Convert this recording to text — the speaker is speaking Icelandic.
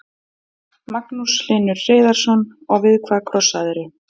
Magnús Hlynur Hreiðarsson: Og við hvað krossaðirðu?